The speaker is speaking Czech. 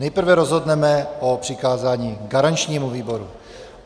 Nejprve rozhodneme o přikázání garančnímu výboru.